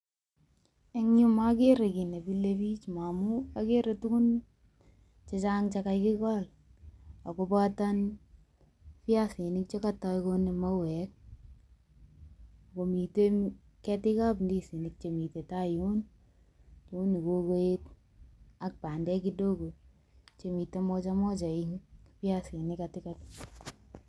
Eng yuu kokere kiit nemilebiik amun okere tukun chechang chekakikol akoboto biasinik chekotoi konem mauek ak komiten ketikap indisinik chemiten taa yuun nekokoet ak bendek kidogo chemiten moja moja eng' biasinik katikati.